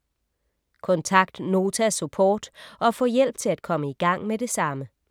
Kontakt Nota Support og få hjælp til at komme i gang med det samme.